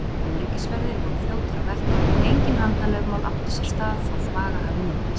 Öryggisverðir voru fljótir á vettvang og engin handalögmál áttu sér stað þó þvaga hafi myndast.